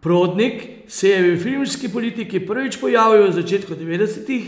Prodnik se je v filmski politiki prvič pojavil v začetku devetdesetih